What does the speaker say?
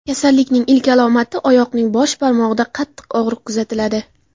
Kasallikning ilk alomati oyoqning bosh barmog‘ida qattiq og‘riq kuzatiladi.